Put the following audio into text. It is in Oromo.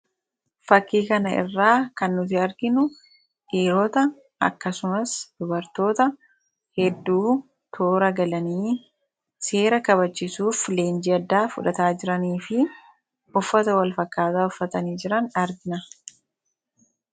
Fakkii kana irraa kan nuti arginu dhiiroota akkasumas dubartoota hedduu toora galanii seera kabachisuuf leenji addaa fudhataa jiranii fi uffata walfakkaataa uffatanii jiran argina.